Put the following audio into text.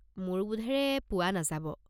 মোৰ বোধেৰে পোৱা নাযাব।